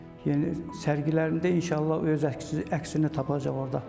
Yəni sərgilərimdə inşallah o öz əksini tapacaq orda.